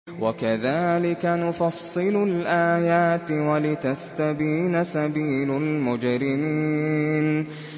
وَكَذَٰلِكَ نُفَصِّلُ الْآيَاتِ وَلِتَسْتَبِينَ سَبِيلُ الْمُجْرِمِينَ